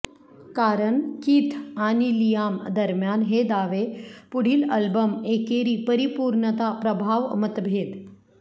कारण किथ आणि लियाम दरम्यान हे दावे पुढील अल्बम एकेरी परिपूर्णता प्रभाव मतभेद